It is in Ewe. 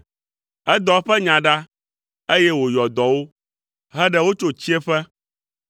Edɔ eƒe nya ɖa, eye wòyɔ dɔ wo, heɖe wo tso tsiẽƒe.